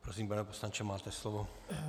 Prosím, pane poslanče, máte slovo.